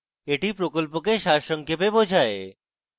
এটি প্রকল্পকে সারসংক্ষেপে বোঝায়